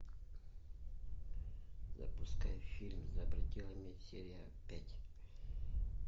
запускай фильм за пределами серия пять